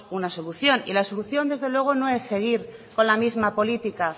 una solución la solución desde luego no es seguir con la misma política